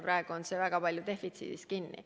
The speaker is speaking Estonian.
Praegu on see väga palju defitsiidis kinni.